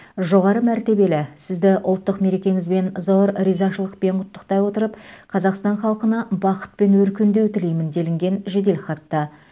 жоғары мәртебелі сізді ұлттық мерекеңізбен зор ризашылықпен құттықтай отырып қазақстан халқына бақыт пен өркендеу тілеймін делінген жеделхатта